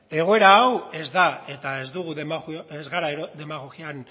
egoera hau ez da eta ez dugu ez gara demagogian